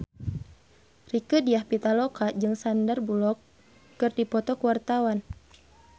Rieke Diah Pitaloka jeung Sandar Bullock keur dipoto ku wartawan